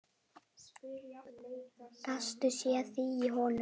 Gastu séð þig í honum?